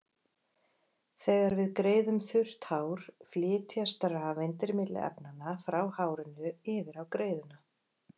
Þegar við greiðum þurrt hár flytjast rafeindir milli efnanna, frá hárinu yfir á greiðuna.